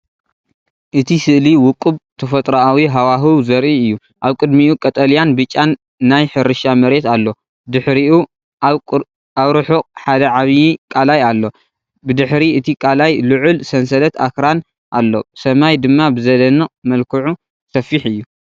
እቲ ስእሊ ውቁብ ተፈጥሮኣዊ ሃዋህው ዘርኢ እዩ። ኣብ ቅድሚኡ ቀጠልያን ብጫን ናይ ሕርሻ መሬት ኣሎ፣ ድሕሪኡ ኣብ ርሑቕ ሓደ ዓቢ ቀላይ ኣሎ። ብድሕሪ እቲ ቀላይ ልዑል ሰንሰለት ኣኽራን ኣሎ፣ ሰማይ ድማ ብዘደንቕ መልክዑ ሰፊሕ እዩ።